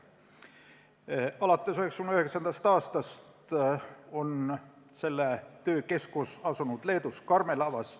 Alates 1999. aastast on selle töö keskus asunud Leedus Karmelavas.